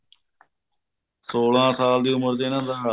ਸੋਲਾਂ ਸਾਲ ਦੀ ਉਮਰ ਚ ਇਹਨਾ ਦਾ